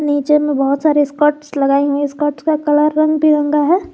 नीचे में बहुत सारे स्कर्ट्स लगाई हूं स्कर्ट्स का कलर रंग बिरंगा है।